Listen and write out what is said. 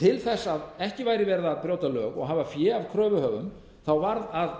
til þess að ekki væri verið að brjóta lög og hafa fé af kröfuhöfum varð að